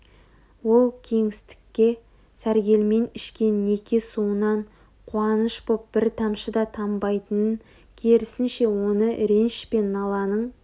ол кеңістікке сәргелмен ішкен неке суынан қуаныш боп бір тамшы да тамбайтынын керісінше оны реніш пен наланың